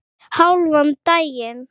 Hálfan daginn.